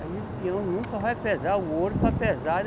Aí o peão nunca vai pesar o ouro para pesar.